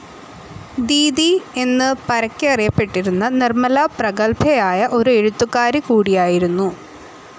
ദീദി എന്ന് പരക്കെ അറിയപ്പെട്ടിരുന്ന നിർമല പ്രഗത്ഭയായ ഒരു എഴുത്തുകാരി കൂടിയായിരുന്നു.